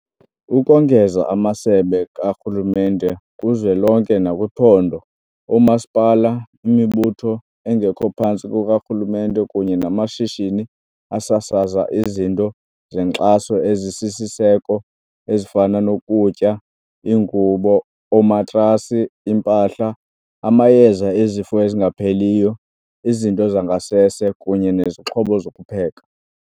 Ukongeza, amasebe karhulumente kuzwelonke nakwiphondo, oomasipala, imibutho engekho phantsi kukarhulumente kunye namashishini asasaza izinto zenkxaso ezisisiseko ezifana nokutya, iingubo, oomatrasi, iimpahla, amayeza ezifo ezingapheliyo, izinto zangasese kunye nezixhobo zokupheka.